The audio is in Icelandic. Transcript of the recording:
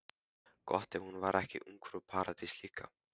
Gott ef hún var ekki ungfrú Paradís líka.